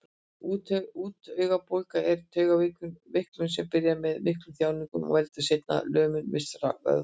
Úttaugabólga er taugaveiklun sem byrjar með miklum þjáningum og veldur seinna lömun vissra vöðva.